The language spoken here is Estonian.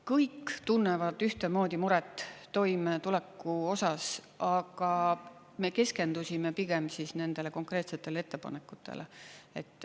Kõik tunnevad ühtemoodi muret toimetuleku osas, aga me keskendusime pigem nendele konkreetsetele ettepanekutele.